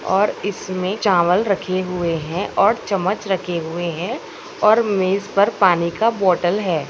और इसमें चावल रखे हुए हैं और चम्मच रखे हुए हैं और मेज़ पर पानी का बोतल है।